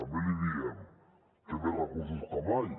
també l’hi diem té més recursos que mai